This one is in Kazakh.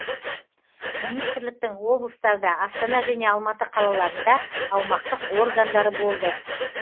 министрліктің облыстарда астана және алматы қалаларында аумақтық органдары болды